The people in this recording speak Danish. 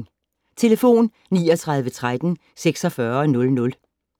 Telefon: 39 13 46 00